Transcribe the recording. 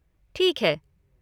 ठीक है।